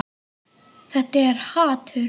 Þetta er hatur.